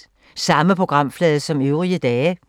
Samme programflade som øvrige dage